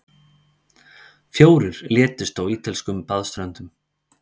Fjórir létust á ítölskum baðströndum